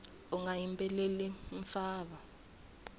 unga yimbeleli mfava